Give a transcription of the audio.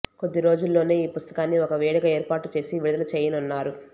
కొద్ది రోజుల్లోనే ఈ పుస్తకాన్ని ఒక వేడుక ఏర్పాటు చేసి విడుదల చేయనున్నారు